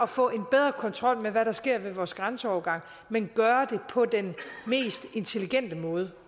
få en bedre kontrol med hvad der sker ved vores grænseovergange men gøre det på den mest intelligente måde